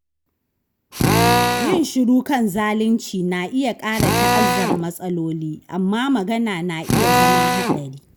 Yin shiru kan zalunci na iya ƙara ta'azzara matsaloli, amma magana na iya zama haɗari.